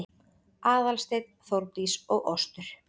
Aðalsteinn, Þórdís og Ostur